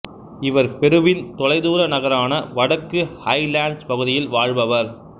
இவர் பெருவின் தொலைதூர நகரான வடக்கு ஹைலேண்ட்ஸ் பகுதியில் வாழ்பவர்